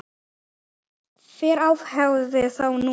Hvar æfiði þá núna?